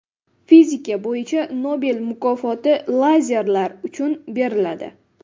Fizika bo‘yicha Nobel mukofoti lazerlar uchun beriladi.